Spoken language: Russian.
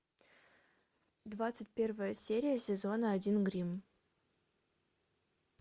двадцать первая серия сезона один гримм